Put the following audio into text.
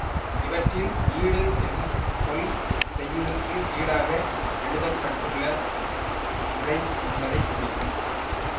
இவற்றில் ஈடு என்னும் சொல் செய்யுளுக்கு ஈடாக எழுதப்பட்டுள்ள உரை என்பதை குறிக்கும்